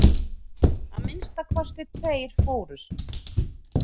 Að minnsta kosti tveir fórust.